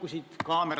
Urmas Kruuse, palun!